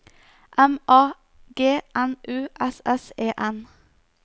M A G N U S S E N